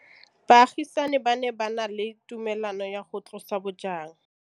Baagisani ba ne ba na le tumalanô ya go tlosa bojang.